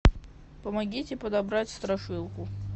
помогите подобрать страшилку